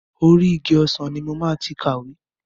Orí igi ọsàn ni mo máa ti kàwé.